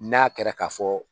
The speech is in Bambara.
N'a kɛra ka fɔ